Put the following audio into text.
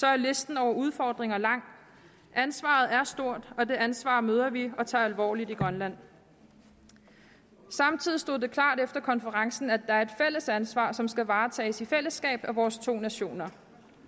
er listen over udfordringer lang ansvaret er stort og det ansvar møder vi og tager alvorligt i grønland samtidig stod det klart efter konferencen at der er et fælles ansvar som skal varetages i fællesskab af vores to nationer